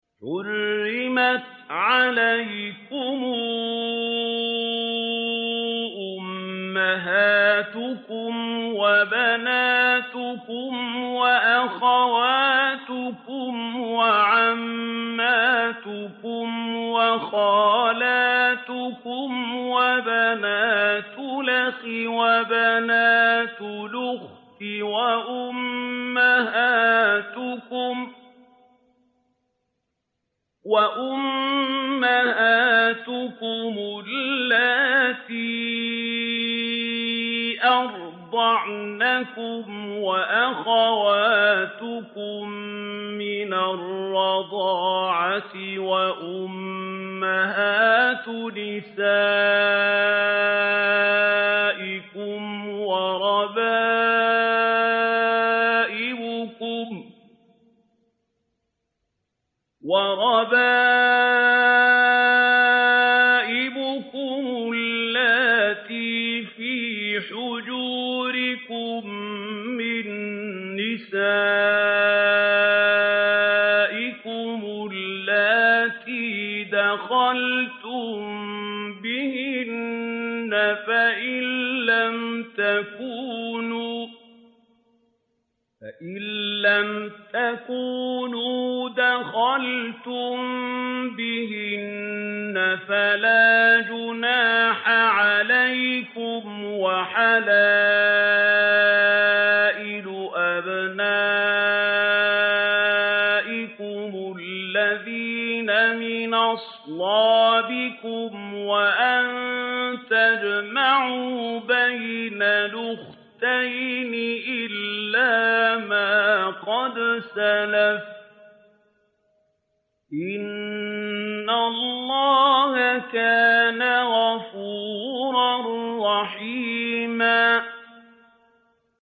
حُرِّمَتْ عَلَيْكُمْ أُمَّهَاتُكُمْ وَبَنَاتُكُمْ وَأَخَوَاتُكُمْ وَعَمَّاتُكُمْ وَخَالَاتُكُمْ وَبَنَاتُ الْأَخِ وَبَنَاتُ الْأُخْتِ وَأُمَّهَاتُكُمُ اللَّاتِي أَرْضَعْنَكُمْ وَأَخَوَاتُكُم مِّنَ الرَّضَاعَةِ وَأُمَّهَاتُ نِسَائِكُمْ وَرَبَائِبُكُمُ اللَّاتِي فِي حُجُورِكُم مِّن نِّسَائِكُمُ اللَّاتِي دَخَلْتُم بِهِنَّ فَإِن لَّمْ تَكُونُوا دَخَلْتُم بِهِنَّ فَلَا جُنَاحَ عَلَيْكُمْ وَحَلَائِلُ أَبْنَائِكُمُ الَّذِينَ مِنْ أَصْلَابِكُمْ وَأَن تَجْمَعُوا بَيْنَ الْأُخْتَيْنِ إِلَّا مَا قَدْ سَلَفَ ۗ إِنَّ اللَّهَ كَانَ غَفُورًا رَّحِيمًا